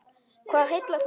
Hvað heillar þá mest?